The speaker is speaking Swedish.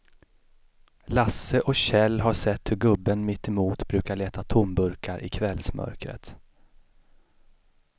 Lasse och Kjell har sett hur gubben mittemot brukar leta tomburkar i kvällsmörkret.